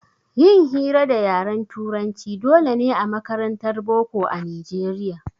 Yin hira da yaran turanci dole ne a makarantar boko a nijeriya